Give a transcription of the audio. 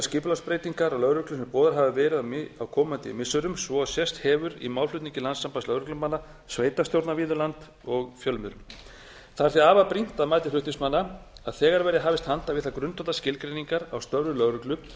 skipulagsbreytingar á lögreglu sem boðaðar hafa verið á komandi missirum svo sem sést hefur í málflutningi landssambands lögreglumanna sveitarstjórna víða um land og fjölmiðla það er því afar brýnt að mati flutningsmanna að þegar verði hafist handa við þær grundvallarskilgreiningar á störfum lögreglu